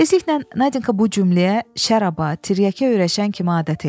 Tezliklə Nadinka bu cümləyə şərab, tiryəki öyrəşən kimi adət eləyir.